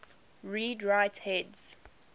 read write heads